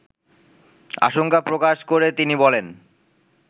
আশঙ্কা প্রকাশ করে তিনি বলেন